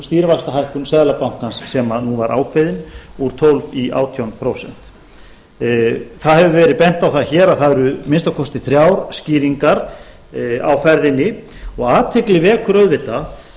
stýrivaxtahækkun seðlabankans sem nú var ákveðin úr tólf prósent í átján prósent það hefur verið bent á það hér að það eru að minnsta kosti þrjár skýringar á ferðinni og athygli vekur auðvitað